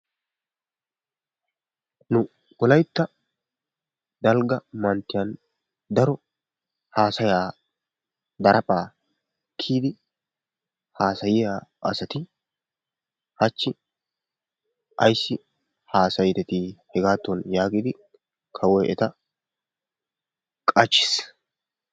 Nu Wolaytta dalgga manttiyan daro haasayaa daraphphaa kiyidi haasayiya asati hachchi ayssi haasayidetii hegaatton yaagidi kawoy eta qachchiis.